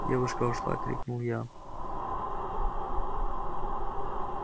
девушка ушла крикнул я